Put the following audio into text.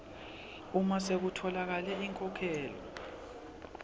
uma sekutfolakele inkhokhelo